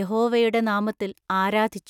യഹോവയുടെ നാമത്തിൽ ആരാധിച്ചു.